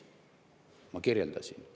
Ma kirjeldasin seda.